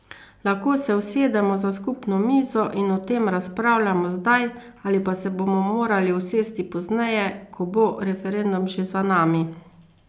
Lahko se usedemo za skupno mizo in o tem razpravljamo zdaj ali pa se bomo morali usesti pozneje, ko bo referendum že za nami.